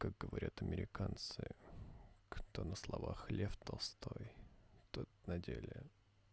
как говорят американцы кто на словах лев толстой тот на деле